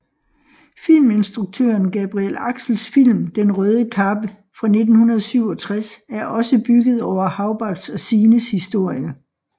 Filminstruktøren Gabriel Axels film Den røde kappe fra 1967 er også bygget over Hagbards og Signes historie